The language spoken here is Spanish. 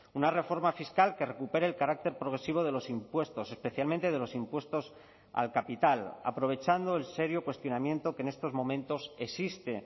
una reforma fiscal que recupere el carácter progresivo de los impuestos especialmente de los impuestos al capital aprovechando el serio cuestionamiento que en estos momentos existe